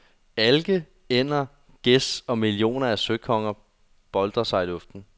Alke, ænder, gæs og millioner af søkonger boltrer sig i luften.